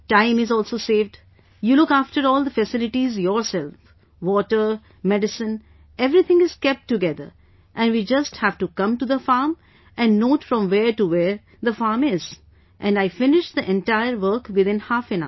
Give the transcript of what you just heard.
Time is also saved, you look after all the facilities yourself... water, medicine, everything is kept together and we just have to come to the farm and note from where to where the farm is... and I finish the entire work within half an hour